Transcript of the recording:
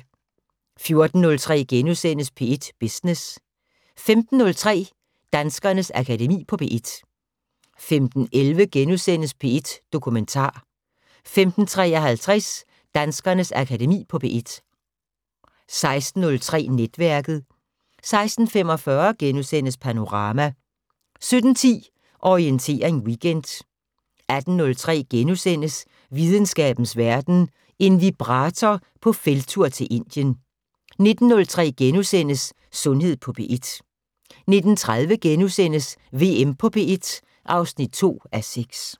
14:03: P1 Business * 15:03: Danskernes Akademi på P1 15:11: P1 Dokumentar * 15:53: Danskernes Akademi på P1 16:03: Netværket 16:45: Panorama * 17:10: Orientering Weekend 18:03: Videnskabens Verden: En vibrator på felttur til Indien * 19:03: Sundhed på P1 * 19:30: VM på P1 (2:6)*